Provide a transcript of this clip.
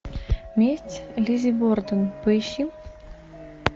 месть лиззи борден поищи